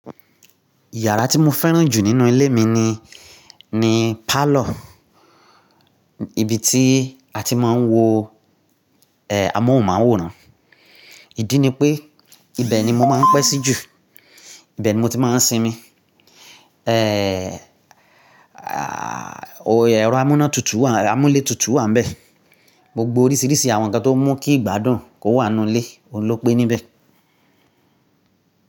Ìyàrá tí mo fẹ́ràn jù nínú ilé mi ni, ni parlour, ibi tí a ti máa ń wo, eh, amóhùnmáwòrán. Ìdí ni pé ibẹ̀ ni mo máa ń pẹ́ sí jù, ibẹ̀ ni mo ti máa ń sinmi. Eh, ẹ̀rọ amúnátútù, amúlé tutù wà níbẹ̀. Gbogbo oríṣiríṣi àwọn nǹkan tó mú kí ìgbádùn kó wà nínú ilé, òun ló pé níbẹ̀.